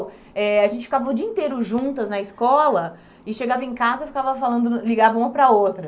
eh A gente ficava o dia inteiro juntas na escola e chegava em casa e ficava falando ligava uma para a outra.